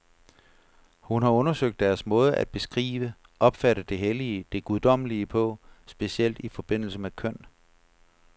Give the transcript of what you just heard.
Hun har undersøgt deres måde at beskrive, opfatte det hellige, det guddommelige på, specielt i forbindelse med køn.